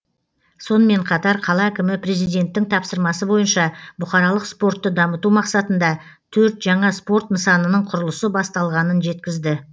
сонымен қатар қала әкімі президенттің тапсырмасы бойынша бұқаралық спортты дамыту мақсатында төрт жаңа спорт нысанының құрылысы басталғанын жеткізді